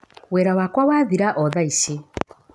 Wĩra wakwa wathira o thaici.